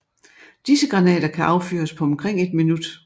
Disse granater kan affyres på omkring et minut